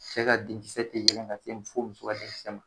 Cɛ ka denkisɛ tɛ yɛlɛ ka se fɔ muso den kisɛ ma.